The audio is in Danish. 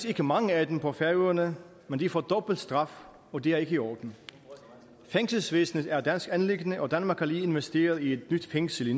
ikke mange af dem på færøerne men de får dobbelt straf og det er ikke i orden fængselsvæsenet er et dansk anliggende og danmark har lige investeret i et nyt fængsel i